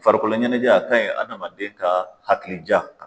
Farikolo ɲɛnajɛ, a kaɲi adamaden ka hakili ja